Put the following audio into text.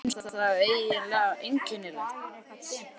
Björn: Þér finnst það einnig einkennilegt?